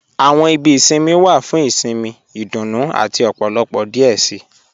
Àwọn ìbí ìṣinmí wa fún ìṣinmí, ìdúnú àti ọ̀pọ̀lọpọ̀ díẹ̀ sí.